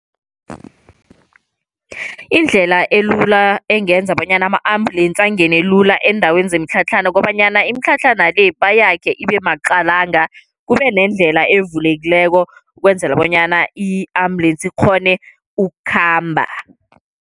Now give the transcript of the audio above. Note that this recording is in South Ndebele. Indlela elula engenza bonyana ama-ambulensi angene lula eendaweni zemitlhatlhana, kobanyana imitlhatlhana le bayakhe ibe maqalanga. Kube nendlela evulekileko ukwenzela bonyana i-ambulensi ikghone ukhamba.